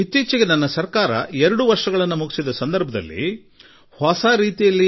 ಇದೀಗ ನನ್ನ ಸರ್ಕಾರ ಎರಡು ವರ್ಷ ಪೂರ್ಣಗೊಳಿಸಿದೆ